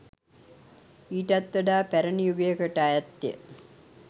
ඊටත් වඩා පැරණි යුගයකට අයත් ය.